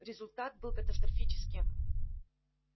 результат был катастрофическим